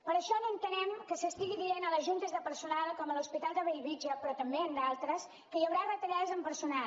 per això no entenem que s’estigui dient a les juntes de personal com a l’hospital de bellvitge però també en d’altres que hi haurà retallades en personal